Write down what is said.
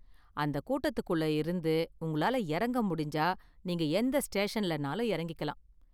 அந்த கூட்டத்துக்குள்ள இருந்து உங்களால இறங்க முடிஞ்சா நீங்க எந்த ஸ்டேஷன்லனாலும் இறங்கிக்கலாம்.